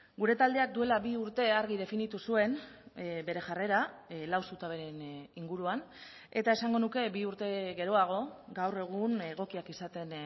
gure taldeak duela bi urte argi definitu zuen bere jarrera lau zutaberen inguruan eta esango nuke bi urte geroago gaur egun egokiak izaten